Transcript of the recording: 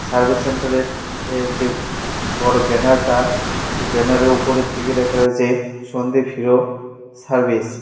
Service সেন্টারের এর যে বড় ব্যানারটা সে ব্যানারের ওপরের দিকে লেখা রয়েছে সন্দ্বীপ হিরো সার্ভিস ।